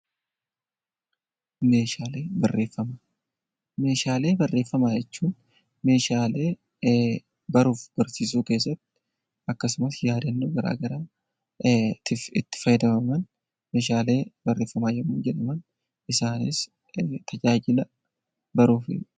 Meeshaalee barreeffama, meeshaalee barreeffama jechuun meeshaalee baruuf barsiisuu keessatti akkasumas, yaadannoo garaagaraa itti fayyadaman meeshaalee barreeffama yemmu jedhaman isaanis tajaajila baruti.